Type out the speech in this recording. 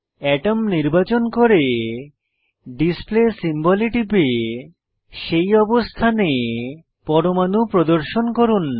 আতম নির্বাচন করে display symbol এ টিপে সেই অবস্থানে পরমাণু প্রদর্শন করুন